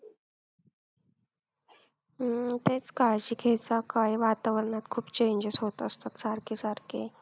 हम्म तेच काळजी घेत जा काय आहे वातावरणात खूप changes होत असतात सारखे सारखे.